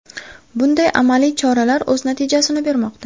Bunday amaliy choralar o‘z natijasini bermoqda.